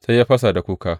Sai ya fasa da kuka.